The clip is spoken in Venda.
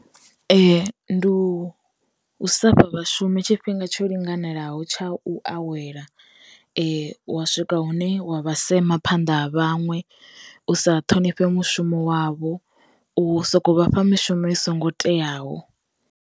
Ndi u sa fha vha shumi tshifhinga tsho linganelaho tsha u awela, wa swika hune wa vha sema phanḓa ha vhaṅwe, u sa thonifhe mushumo wavho, u soko vhafha mishumo i songo teaho.